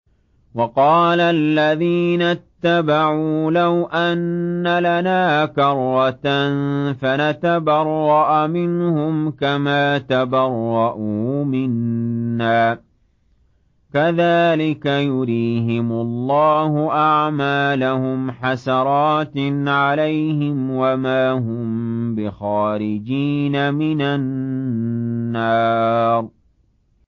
وَقَالَ الَّذِينَ اتَّبَعُوا لَوْ أَنَّ لَنَا كَرَّةً فَنَتَبَرَّأَ مِنْهُمْ كَمَا تَبَرَّءُوا مِنَّا ۗ كَذَٰلِكَ يُرِيهِمُ اللَّهُ أَعْمَالَهُمْ حَسَرَاتٍ عَلَيْهِمْ ۖ وَمَا هُم بِخَارِجِينَ مِنَ النَّارِ